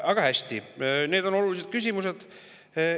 Aga hästi, need on olulised küsimused.